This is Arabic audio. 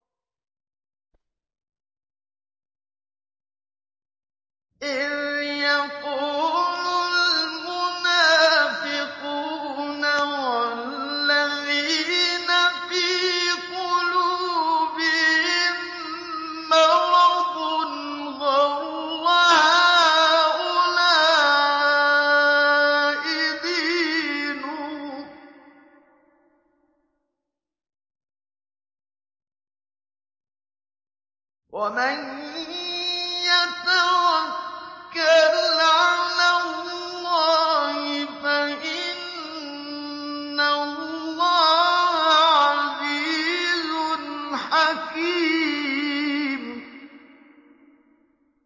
إِذْ يَقُولُ الْمُنَافِقُونَ وَالَّذِينَ فِي قُلُوبِهِم مَّرَضٌ غَرَّ هَٰؤُلَاءِ دِينُهُمْ ۗ وَمَن يَتَوَكَّلْ عَلَى اللَّهِ فَإِنَّ اللَّهَ عَزِيزٌ حَكِيمٌ